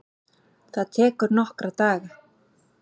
Það tekur nokkra daga.